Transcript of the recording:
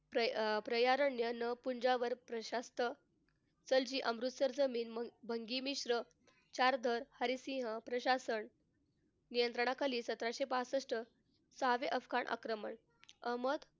प्र प्रयारण्य अमृतसरचं main चारधन हरिसिंह प्रशासन नियंत्रणाखाली सतराशे पासष्ट साधे अफगाण आक्रमण अहमद,